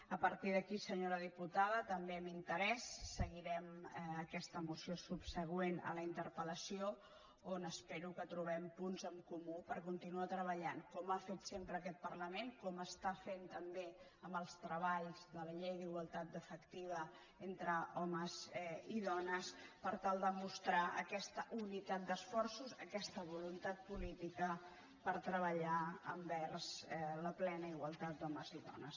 a partir d’aquí senyora diputada també amb interès seguirem aquesta moció subsegüent a la interpelon espero que trobem punts en comú per continuar treballant com ha fet sempre aquest parlament com està fent també amb els treballs de la llei d’igualtat efectiva entre homes i dones per tal de mostrar aquesta unitat d’esforços aquesta voluntat política per treballar envers la plena igualtat d’homes i dones